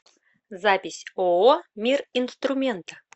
запись ооо мир инструмента